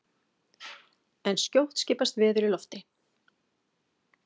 En skjótt skipast veður í lofti!